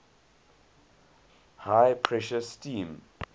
high pressure steam